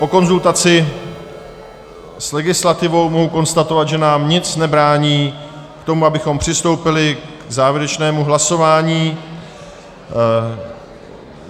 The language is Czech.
Po konzultaci s legislativou mohu konstatovat, že nám nic nebrání v tom, abychom přistoupili k závěrečnému hlasování.